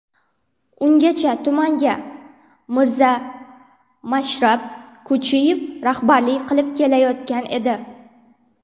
Ungacha tumanga Mirzamashrab Ko‘chiyev rahbarlik qilib kelayotgan edi.